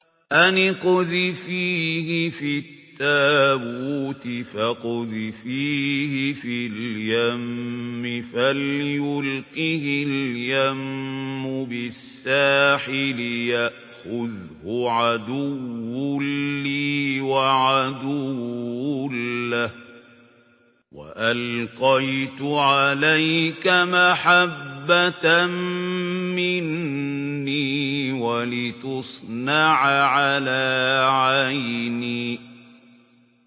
أَنِ اقْذِفِيهِ فِي التَّابُوتِ فَاقْذِفِيهِ فِي الْيَمِّ فَلْيُلْقِهِ الْيَمُّ بِالسَّاحِلِ يَأْخُذْهُ عَدُوٌّ لِّي وَعَدُوٌّ لَّهُ ۚ وَأَلْقَيْتُ عَلَيْكَ مَحَبَّةً مِّنِّي وَلِتُصْنَعَ عَلَىٰ عَيْنِي